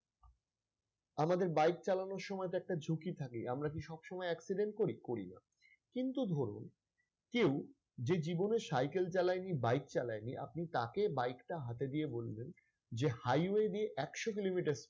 আমাদের bike চালানোর সময় তো একটা ঝুঁকি থাকে আমরা কি সবসময় accident করি? করিনা। কিন্তু ধরুন কেউ যে জীবনে cycle চালাই নি bike চালায় নি আপনি তাঁকে bike টা হাতে দিয়ে বললেন যে highway দিয়ে একশ kilometer